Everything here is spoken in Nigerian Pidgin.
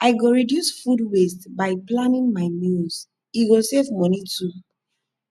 i go reduce food waste by planning my meals e go save money too